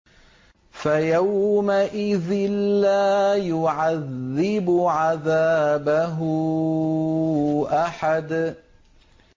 فَيَوْمَئِذٍ لَّا يُعَذِّبُ عَذَابَهُ أَحَدٌ